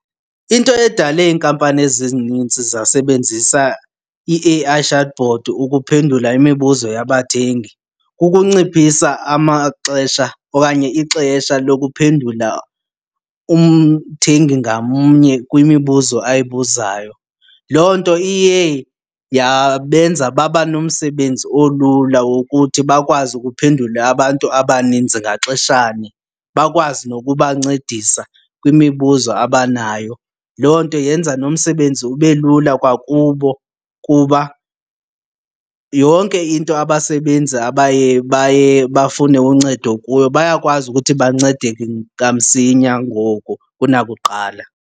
Into edale iinkampani ezi zininzi zasebenzisa i-A_I chatbot ukuphendula imibuzo yabathengi kukunciphisa amaxesha okanye ixesha lokuphendula umthengi ngamnye kwimibuzo ayibuzayo. Loo nto iye yabenza baba nomsebenzi olula wokuthi bakwazi ukuphendula abantu abaninzi ngaxeshanye bakwazi nokubancedisa kwimibuzo abanayo. Loo nto yenza nomsebenzi ube lula kwakubo kuba yonke into abasebenzi abaye baye bafune uncedo kuyo bayakwazi ukuthi bancedeke kamsinya ngoku kunakuqala.